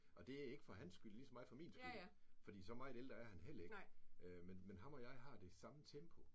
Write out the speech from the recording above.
Og det ikke for hans skyld lige så meget for min skyld fordi så meget ældre er han heller ikke men men ham og mig har det samme tempo